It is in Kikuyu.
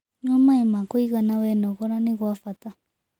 Nyua maĩĩ ma kũĩgana wenogora gwĩ bata